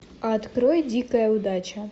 открой дикая удача